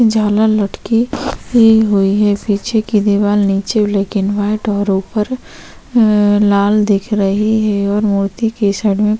जाला लटकी हुई हैं पीछे की दीवार नीचे ब्लैक एंड व्हाइट और ऊपर लाल दिख रही है और मूर्ति के साइड में--